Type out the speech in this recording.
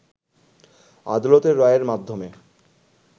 আদালতের রায়ের মাধ্যমে